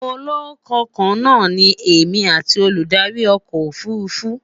ọlọkàn kaana ní èmi atti Olùdarí ọkọ òfurufú